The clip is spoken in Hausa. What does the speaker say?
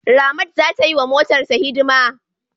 Ramat za ta yi wa motarta hidima.